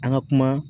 An ka kuma